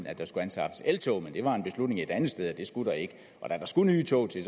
at der skulle anskaffes eltog men det var en beslutning et andet sted at det skulle der ikke og da der skulle nye tog til